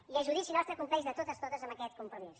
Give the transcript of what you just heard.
i a judici nostre compleix de totes totes amb aquest compromís